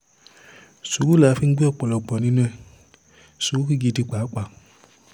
sùúrù la fi ń gbé ọ̀pọ̀lọpọ̀ nínú ẹ̀ sùúrù gidi pàápàá